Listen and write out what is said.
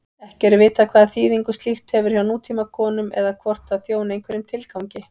Ekki er vitað hvaða þýðingu slíkt hefur hjá nútímakonum eða hvort það þjóni einhverjum tilgangi.